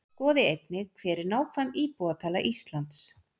Skoði einnig: Hver er nákvæm íbúatala Íslands?